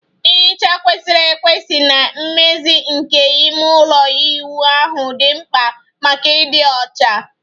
Nhicha kwesịrị ekwesị na mmezi nke ime ụlọ ịwụ ahụ dị mkpa maka ịdị ọcha